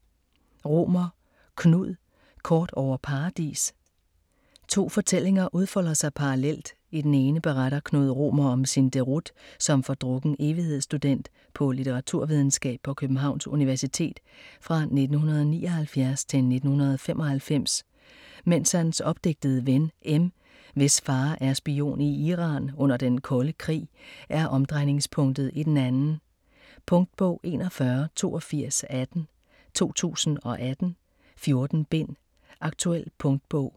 Romer, Knud: Kort over Paradis To fortællinger udfolder sig parallelt. I den ene beretter Knud Romer om sin deroute som fordrukken evighedsstudent på litteraturvidenskab på Københavns Universitet fra 1979-1995, mens hans opdigtede ven, M, hvis far er spion i Iran under den kolde krig, er omdrejningspunktet i den anden. Punktbog 418218 2018. 14 bind. Aktuel punktbog.